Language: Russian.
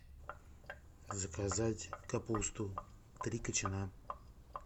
заказать капусту три кочана